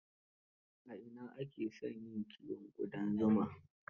A ina ake son yin kiwon ƙudan zuma?